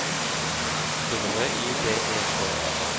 W I B E K E